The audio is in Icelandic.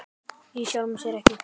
Í sjálfu sér ekki.